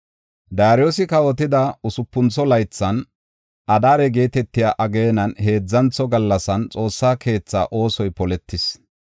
Daariyosi kawotida usupuntho laythan Adaare geetetiya ageenan heedzantho gallasan, Xoossaa keetha oosoy poletis.